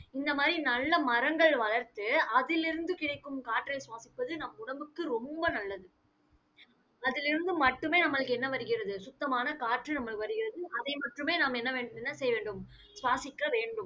இந்த மாதிரி நல்ல மரங்கள் வளர்த்து, அதிலிருந்து கிடைக்கும் காற்றை சுவாசிப்பது நம் உடம்புக்கு ரொம்ப நல்லது. அதிலிருந்து மட்டுமே நம்மளுக்கு என்ன வருகிறது? சுத்தமான காற்று நம்மளுக்கு வருகிறது. அதை மட்டுமே நாம் என்ன வேண்~ செய்ய வேண்டும்? சுவாசிக்க வேண்டும்